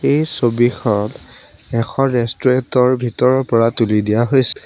এই ছবিখন এখন ৰেষ্টুৰেণ্টৰ ভিতৰৰ পৰা তুলি নিয়া হৈছে।